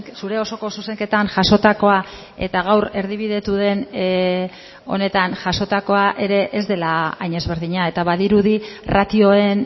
zure osoko zuzenketan jasotakoa eta gaur erdibidetu den honetan jasotakoa ere ez dela hain ezberdina eta badirudi ratioen